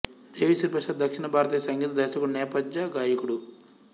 దేవీశ్రీ ప్రసాద్ దక్షిణ భారతీయ సంగీత దర్శకుడు నేపథ్య గాయకుడు